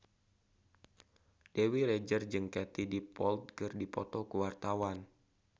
Dewi Rezer jeung Katie Dippold keur dipoto ku wartawan